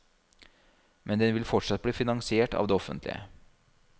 Men den vil fortsatt bli finansiert av det offentlige.